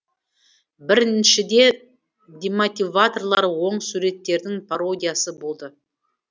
біріншіде демотиваторлар оң суреттердің пародиясы болды